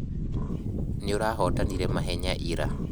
Niĩũrahotanire mahenya ira